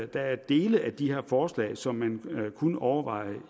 der er dele af de her forslag som man kunne overveje